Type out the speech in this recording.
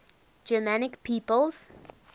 germanic peoples